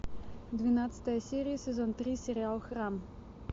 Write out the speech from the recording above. двенадцатая серия сезон три сериал храм